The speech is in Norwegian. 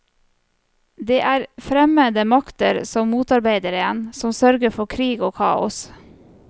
Det er fremmede makter som motarbeider en, som sørger for krig og kaos.